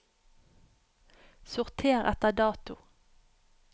sorter etter dato